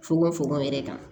Fokon fokon yɛrɛ kan